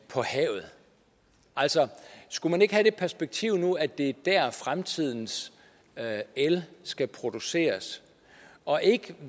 altså skulle man ikke have det perspektiv nu at det er der fremtidens el skal produceres og ikke